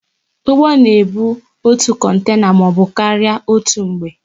Ụgbọ na ebu otu kontena maọbụ karịa otú mgbe